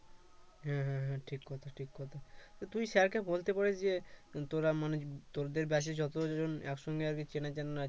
হ্যাঁ হ্যাঁ হ্যাঁ ঠিক কথা ঠিক কথা তুই স্যারকে বলতে পারিস যে তোরা মানে তোদের ব্যাচের যতজন একসঙ্গে আছিস চেনাজানা